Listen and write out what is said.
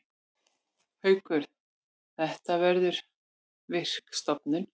Haukur: Þetta verður virk stofnun.